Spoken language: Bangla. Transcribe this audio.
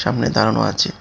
সামনে দাঁড়ানো আচে ।